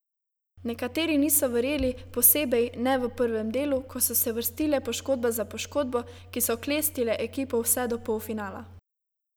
Nekateri niso verjeli, posebej ne v prvem delu, ko so se vrstile poškodba za poškodbo, ki so klestile ekipo vse do polfinala.